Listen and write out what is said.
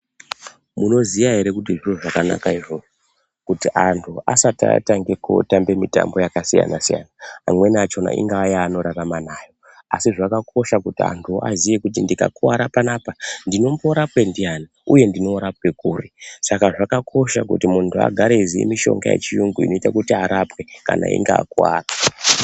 Munoziya ere kuti zviro zvakanaka izvozvo kuti antu asati atanga kutamba mutambo yakasiyana-siyana amweni achona ingava yaanorarama nayo asi zvakakosha kuti antu aziye kuti ndikakuvara panapa ndinomborapwa ndiyani uye ndinorapwa kuri saka zvakakosha kuti muntu agare eiziya mushonga yechiyungu inoita kuti arapwe kana einge akuvara.